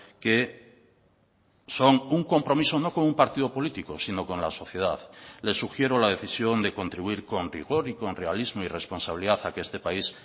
que son un compromiso no con un partido político sino con la sociedad les sugiero la decisión de contribuir con rigor y con realismo y responsabilidad a que este país